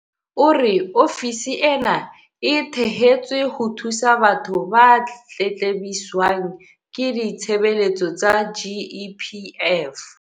O re ofisi ena e thehetswe ho thusa batho ba tletlebiswang ke ditshebeletso tsa GEPF.